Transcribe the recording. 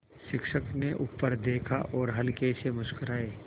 शिक्षक ने ऊपर देखा और हल्के से मुस्कराये